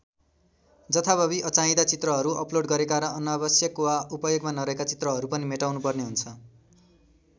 जथाभावी अचाहिँदा चित्रहरू अपलोड गरेका र अनावश्यक वा उपयोगमा नरहेका चित्रहरू पनि मेटाउनुपर्ने हुन्छ।